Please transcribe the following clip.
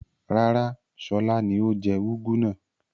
Rárá, Ṣọlá ni ó jẹ úgú náà.